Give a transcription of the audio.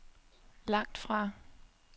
langtfra